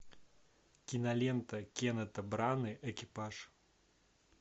кинолента кеннета браны экипаж